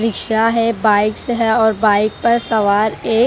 rickshaw है bikes है और बाइक पर सवार एक --